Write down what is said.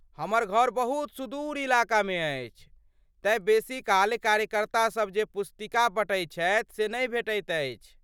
हमर घर बहुत सुदूर इलाकामे अछि, तेँ बेसी काल कार्यकर्तासभ जे पुस्तिका बँटैत छथि से नहि भेटैत अछि।